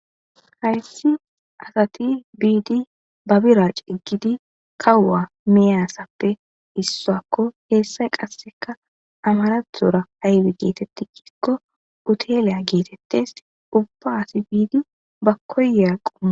Hayssi asati biidi ba bira ciggidi kawuwa miyaassappe issoakko heessay qasseka amarathora aybi geetetti kikko uteleya geetettes ubbaasi biidi ba koyeaqqoa.